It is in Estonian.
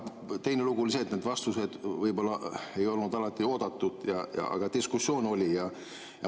Teine lugu oli see, et need vastused võib-olla ei olnud alati oodatud, aga diskussioon oli.